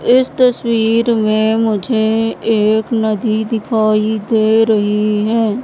इस तसवीर में मुझे एक नदी दिखाई दे रही है।